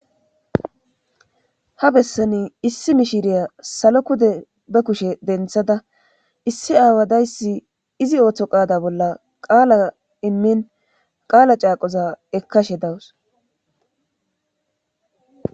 ha bessani issi mishiriya salo pude be kushe denthada issi aawadayssi izi ooththo qaada bolla qaala immin qaala caaqoza ekkashe dawus